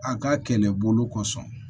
A ka kɛlɛbolo kɔsɔn